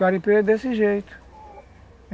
garimpeiro é desse jeito.